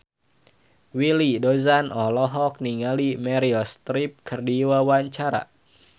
Willy Dozan olohok ningali Meryl Streep keur diwawancara